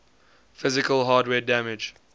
physical hardware damage